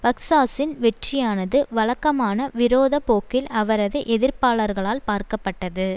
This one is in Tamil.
பக்சாஸ்சின் வெற்றியானது வழக்கமான விரோத போக்கில் அவரது எதிர்ப்பாளர்களால் பார்க்கப்பட்டது